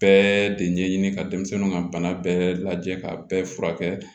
Bɛɛ de ɲɛɲini ka denmisɛnnu ka bana bɛɛ lajɛ k'a bɛɛ furakɛ